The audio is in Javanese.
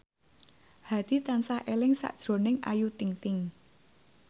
Hadi tansah eling sakjroning Ayu Ting ting